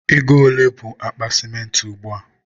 ego ole bụ akpa sịmentị ugbua?